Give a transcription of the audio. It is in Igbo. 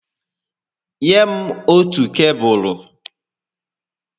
Nye m otù kebụlụ